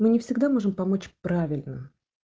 мы не всегда можем помочь правильно